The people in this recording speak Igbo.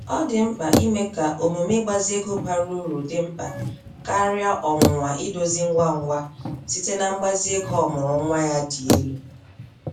Ọ dị mkpa ime ka omume ịgbazi ego bara uru dị mkpa karịa ọnwụnwa idozi ngwa ngwa site na mgbazi ego ọmụụrụ nwa ya dị elu.